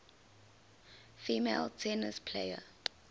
female tennis players